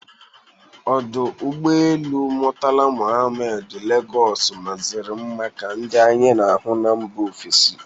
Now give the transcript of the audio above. Ọdụ ụgbọelu Mọtala Mọhammed Legọs mazịri nma ka ndị anyị na-afụ na mba ofesi